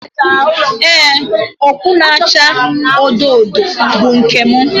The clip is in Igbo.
Ee, okpu na-acha odo odo bụ nke m